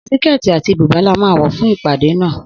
Síkètì àti bùbá la máa wò fún ìpàdé náà.